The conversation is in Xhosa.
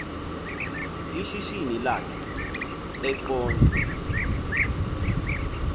ishishini lakhe eqonce